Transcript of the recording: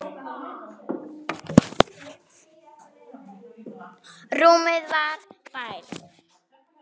Þú sást þó Bárð?